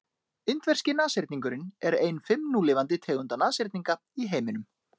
indverski nashyrningurinn er ein fimm núlifandi tegunda nashyrninga í heiminum